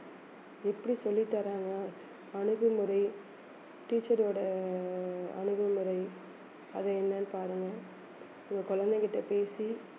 எப்படி சொல்லித்தர்றாங்க அணுகுமுறை teacher ஓட ஆஹ் அணுகுமுறை அது என்னன்னு பாருங்க உங்க குழந்தைகிட்ட பேசி